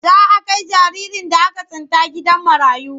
Za a kai jaririn da aka tsinta gidan marayu.